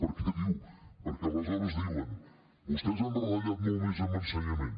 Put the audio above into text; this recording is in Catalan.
perquè aleshores diuen vostès han retallat molt més en ensenyament